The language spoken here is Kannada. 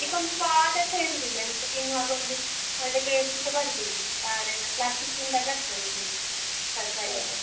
ಅದಿಕ್ಕೊಂದು ಸ್ವಾದಸ ಇರುದಿಲ್ಲ ಎಂತ ತಿನ್ನುವಾಗ ಒಂದು ಒಳ್ಳೆ taste ಸ ಬರುದಿಲ್ಲ ಒಟ್ಟಾರೆ plastic ತಿಂದ ಹಾಗೆ ಆಗ್ತದೆ ತರ್ಕಾರಿ .